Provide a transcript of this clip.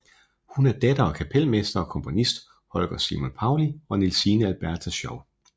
Hun er datter af kapelmester og komponist Holger Simon Paulli og Nielsine Alberta Schow